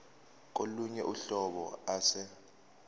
kolunye uhlobo ase